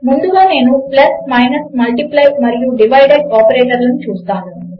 ముందుగా నేను plus minus multiply మరియు డివైడ్ ఆపరేషన్లను చూస్తాను